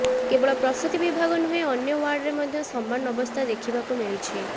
କେବଳ ପ୍ରସୂତି ବିଭାଗ ନୁହେଁ ଅନ୍ୟ ୱାର୍ଡରେ ମଧ୍ୟ ସମାନ ଅବସ୍ଥା ଦେଖିବାକୁ ମିଳିଛି